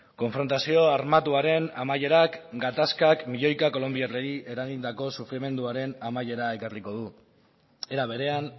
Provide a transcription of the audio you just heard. konfrontazio armatuaren amaierak gatazkak milioika kolonbiarrei eragindako sufrimenduaren amaiera ekarriko du era berean